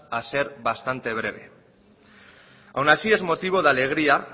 a ser bastante breve aun así es motivo de alegría